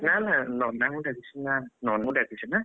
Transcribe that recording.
ନା ନା ନନାଙ୍କୁ ଡାକିଛୁ ନା ନନା ଡାକିଛୁ ନା!